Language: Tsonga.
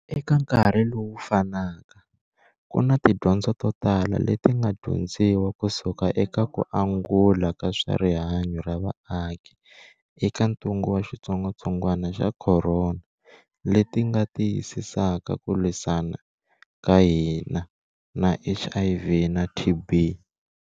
Eka nkarhi lowu fanaka, ku na tidyondzo totala leti nga dyondziwa kusuka eka ku angula ka swa rihanyu ra vaaki eka ntungu wa xitsongwa-tsongwana xa khorona leti nga tiyisisaka ku lwisana ka hina na HIV na TB.